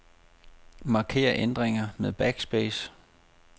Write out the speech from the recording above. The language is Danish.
Marker ændringer med backspace.